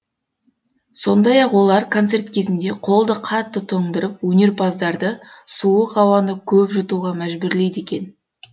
сондай ақ олар концерт кезінде қолды қатты тоңдырып өнерпаздарды суық ауаны көп жұтуға мәжбүрлейді екен